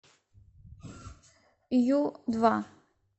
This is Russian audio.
ю два